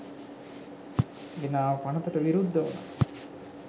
ගෙනාව පනතට විරුද්ධවුනා